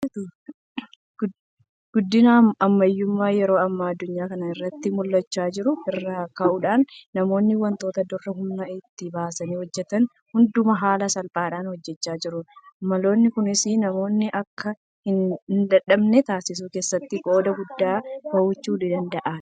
Guddina ammayyummaa yeroo ammaa addunyaa kana irratti mul'achaa jiru irraa ka'uudhaan namoonni waantota dur humna itti baasanii hojjetan hundumaa haala salphaadhaan hojjechaa jiru. Maloonni kunis namoonni akka hindadhabne taasisuu keessatti qooda guddaa bahachuu kan danda'anidha.